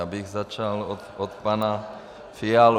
Já bych začal od pana Fialy.